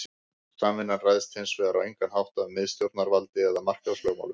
Samvinnan ræðst hins vegar á engan hátt af miðstjórnarvaldi eða markaðslögmálum.